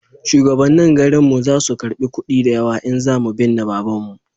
shugabannin garin mu za su karba kudi da yawa in za mu binne babanmu